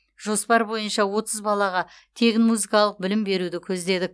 жоспар бойынша отыз балаға тегін музыкалық білім беруді көздедік